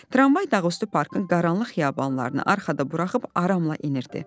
Tramvay Dağüstü parkın qaranlıq xiyabanlarını arxada buraxıb aramla enirdi.